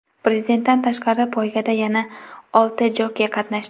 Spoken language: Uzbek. Prezidentdan tashqari, poygada yana olti jokey qatnashdi.